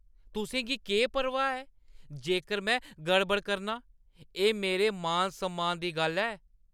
तुसें गी केह् परवाह् ऐ? जेकर में गड़बड़ करनां, एह् मेरे मान-सम्मान दी गल्ल ऐ।